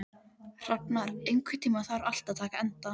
Rafnar, einhvern tímann þarf allt að taka enda.